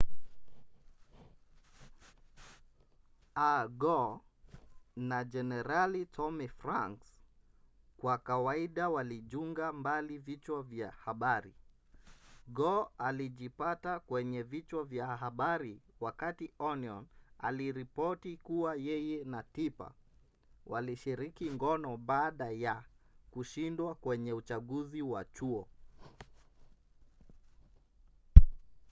al gore na jenerali tommy franks kwa kawaida walinjuga mbali vichwa vya habari gore alijipata kwenye vichwa vya habari wakati onion aliripoti kuwa yeye na tipper walishiriki ngono baada ya kushindwa kwenye uchaguzi wa chuo